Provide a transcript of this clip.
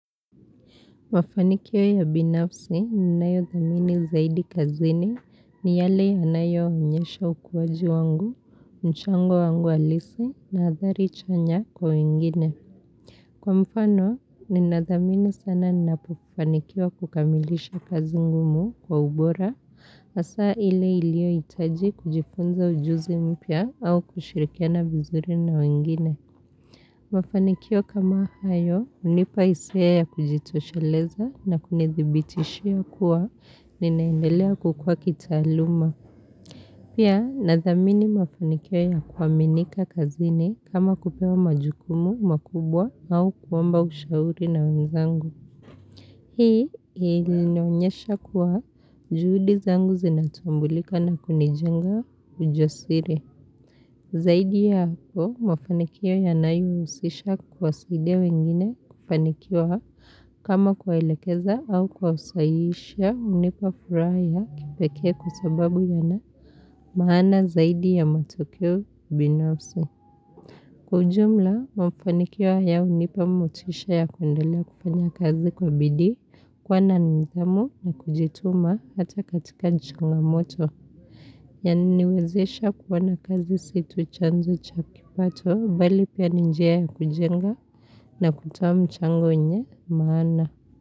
Mafanikio ya binafsi ninayo dhamini zaidi kazini ni yale yanayoonyesha ukuwaji wangu, mchango wangu alisi na adhari chanya kwa wengine. Kwa mfano ninadhamini sana ninapufanikiwa kukamilisha kazi ngumu kwa ubora asaa ile iliohitaji kujifunza ujuzi mpya au kushirikiana viizuri na wengine. Mafanikio kama hayo unipa isia ya kujitosheleza na kunidhibitishia kuwa ninaendelea kukua kitaaluma. Pia nadhamini mafanikio ya kuwaminika kazini kama kupewa majukumu makubwa au kuomba ushauri na wanzangu. Hii ilinionyesha kuwa juhudi zangu zinatumbulika na kunijenga ujosire. Zaidi ya hapo, mafanikio yanayo usisha kuwasaidia wengine kufanikiwa hapa kama kuwaelekeza au kwa kuwasahiishia unipa furaha ya kipekee kwa sababu yana maana zaidi ya matokio binafsi. Kwa ujumla, mafanikio haya hunipa motisha ya kuendelea kufanya kazi kwa bidii, kuwa nidhamu ni kujituma hata katika changamoto. Yananiwezesha kuona kazi si tu chanzo cha kipato, bali pia ni njia ya kujenga na kutoa mchango yenye maana.